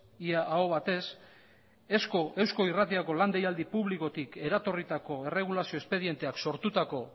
eusko irratirako lan deialdi publikotik eratorritako erregulazio espedienteak sortutako